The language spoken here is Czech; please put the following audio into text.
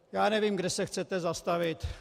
Já nevím, kde se chcete zastavit.